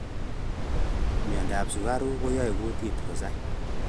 Miondap sukaruk koae kutit kosai